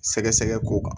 Sɛgɛsɛgɛ ko kan